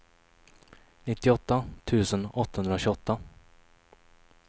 nittioåtta tusen åttahundratjugoåtta